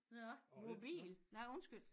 Nå mobil nej undskyld